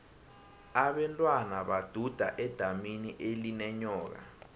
abentwana baduda edamini elinenyoka